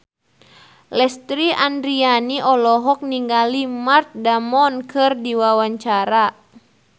Lesti Andryani olohok ningali Matt Damon keur diwawancara